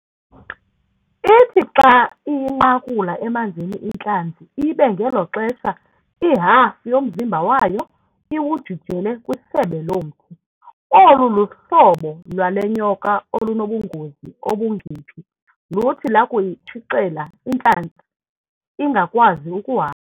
Ithi xa iyinqakula emanzini intlanzi ibe ngelo xesha ihafu yomzimba wayo iwujijela kwisebe lomthi. Olu hlobo lwale nyoka olunobungozi obungephi luthi lusakuyitshicela intlanzi ingakwazi ukuhamba.